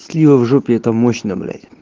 слива в жопе это мощно блять